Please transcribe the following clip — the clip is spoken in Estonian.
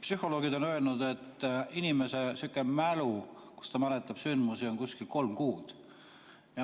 Psühholoogid on öelnud, et inimene mäletab sündmusi umbes kolm kuud.